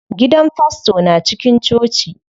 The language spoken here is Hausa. Gidan fasto na cikin coci.